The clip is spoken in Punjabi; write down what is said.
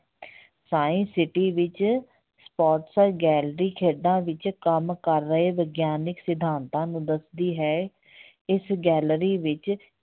science city ਵਿੱਚ sports gallery ਖੇਡਾਂ ਵਿੱਚ ਕੰਮ ਕਰ ਰਹੇ ਵਿਗਿਆਨਕ ਸਿਧਾਤਾਂ ਨੂੰ ਦੱਸਦੀ ਹੈ ਇਸ gallery ਵਿੱਚ